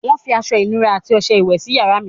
Wọ́n fi aṣọ-ìnura àti ọṣẹ iwẹ̀ sí yàrá mi.